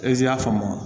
Ezi y'a faamu